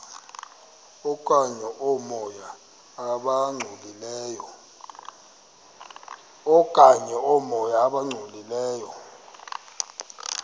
okanye oomoya abangcolileyo